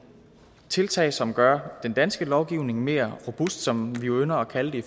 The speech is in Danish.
tiltag som gør den danske lovgivning mere robust som vi jo ynder at kalde det i